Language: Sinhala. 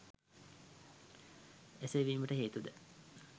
එසේ වීමට හේතුද